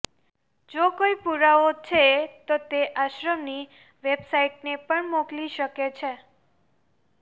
જો કોઇ પુરાવો છે તો તે આશ્રમની વેબસાઇટને પણ મોકલી શકે છે